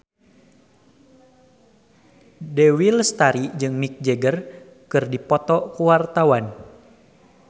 Dewi Lestari jeung Mick Jagger keur dipoto ku wartawan